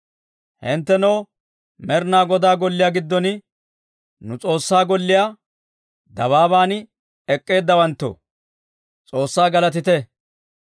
Hinttenoo Med'inaa Godaa golliyaa giddon, nu S'oossaa golliyaa dabaaban ek'k'eeddawanttoo, S'oossaa galatite!